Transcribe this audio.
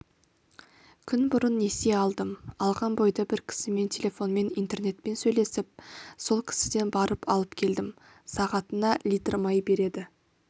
күн бұрын несие алдым алған бойда бір кісімен телефонмен интернетпен сөйлесіп сол кісіден барып алып келдім сағатына литр май береді